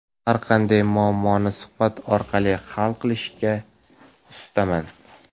Har qanday muammoni suhbat orqali hal qilishga ustaman.